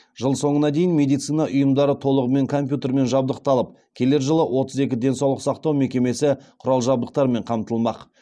жыл соңына дейін медицина ұйымдары толығымен компьютермен жабдықталып келер жылы отыз екі денсаулық сақтау мекемесі құрал жабдықтармен қамтылмақ